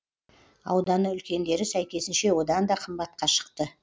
ауданы үлкендері сәйкесінше одан да қымбатқа шықты